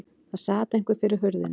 Það sat einhver fyrir hurðinni.